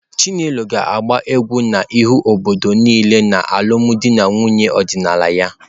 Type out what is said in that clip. Chinelo ga-agba egwu n'ihu obodo niile n'alụmdi na nwunye ọdịnala ya.